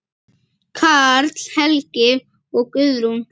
Karl Helgi og Guðrún.